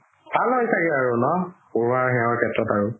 ভাল হয় চাগে ন পঢ়োৱা শেত্ৰত আৰু